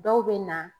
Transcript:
Dɔw bɛ na